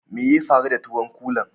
Mai ya faru da tuwon kulan?